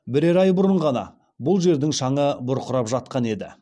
бірер ай бұрын ғана бұл жердің шаңы бұрқырап жатқан еді